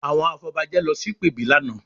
Àwọn afọbajẹ lọ sí ìpèbí lánàá